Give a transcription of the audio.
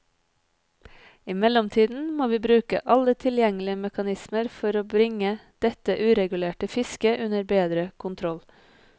I mellomtiden må vi bruke alle tilgjengelige mekanismer for bringe dette uregulerte fisket under bedre kontroll.